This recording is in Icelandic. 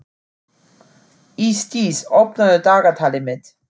Ísdís, opnaðu dagatalið mitt.